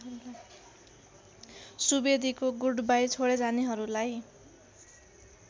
सुवेदीको goodbye छोडिजानेहरूलाई